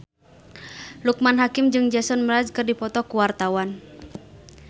Loekman Hakim jeung Jason Mraz keur dipoto ku wartawan